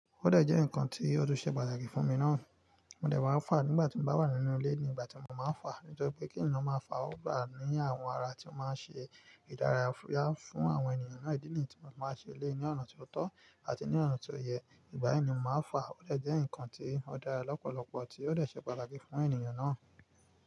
Ọdẹ jẹ́ nǹkan tí ó tùn ṣẹ̀ padà kí fún mi náà. Mo dẹ̀ máa fà á nígbà tí mo bá wà nínú ilé ni ìgbà tí mo máa ń fà á. Nítorí pé kí ènìyàn máa fà ọ́ wá ní àwọn ara tí ó máa ń ṣe ìdárayá fún àwọn ènìyàn náà. Ìdí nì tí mo máa ń ṣe lé ní ọ̀nà ti o tọ́ àti ní ọ̀nà ti o yẹ. Ìgbà yìí ni mo máa fà ọ́. Ọdẹ jẹ́ ǹkan tí ó dára lọ́pọ̀lọpọ̀ tí ó dẹ ṣẹ̀ pátáki fún ènìyàn náà.